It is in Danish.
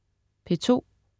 P2: